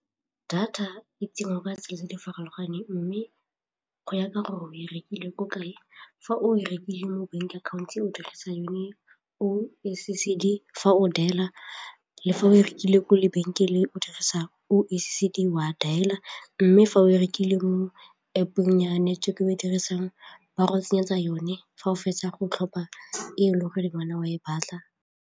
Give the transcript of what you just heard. Data e ka tsela tse di farologaneng mme go ya ka gore o e rekileng o kae, fa o rekile mo bank account o dirisa yone oh S_E_C_D, fa o dial-a le fa o rekile kwa lebenkeleng o dirisa oh S_E_C_D wa dialer mme fa o rekile mo App-ong ya o e dirisang ba go tsenyeletsa yone fa o fetsa go tlhopha e e le gore le wena wa e batla.